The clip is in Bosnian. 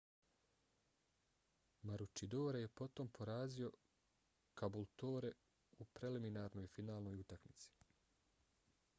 maroochydore je potom porazio caboolture u preliminarnoj finalnoj utakmici